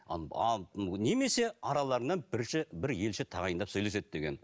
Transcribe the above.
немесе араларынан бірінші бір елші тағайындап сөйлеседі деген